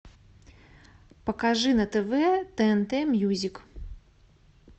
покажи на тв тнт мьюзик